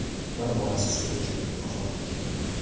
Bir bolasi suvda cho‘kib vafot etgan.